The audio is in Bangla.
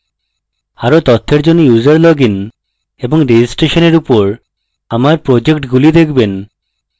আরো তথ্যের জন্য user লগইন এবং রেজিস্ট্রেশননের user আমার প্রজেক্টগুলি দেখবেন